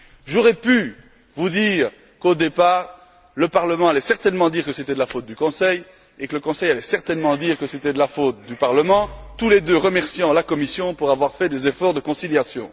J'aurais pu vous dire qu'au départ, le Parlement allait certainement dire que c'était la faute du Conseil et que le Conseil allait certainement dire que c'était la faute du Parlement, tous les deux remerciant la Commission d'avoir fait des efforts de conciliation.